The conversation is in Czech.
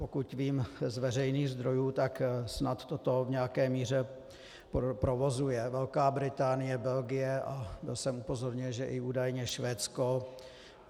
Pokud vím z veřejných zdrojů, tak snad toto v nějaké míře provozuje Velká Británie, Belgie, a byl jsem upozorněn, že údajně i Švédsko.